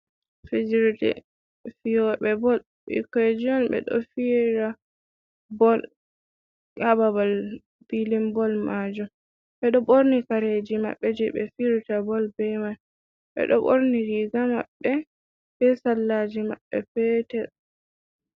Fijirde fiyobɓe bol bikonji on ɓeɗo fira bol ha babal filin bol majum, ɓeɗo ɓorni kareji maɓɓe je ɓe firta bol be man, ɓeɗo ɓorni riga maɓɓe be sallaji maɓɓe petel.